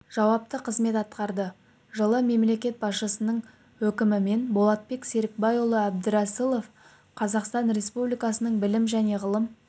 жауапты қызмет атқарды жылы мемлекет басшысының өкімімен болатбек серікбайұлы әбдірәсілов қазақстан республикасының білім және ғылым